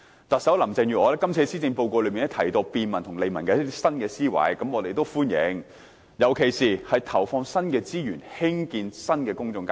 特首林鄭月娥在施政報告提到一些便民和利民的新思維，我們也表示歡迎，尤其是投放新的資源興建新的公眾街市。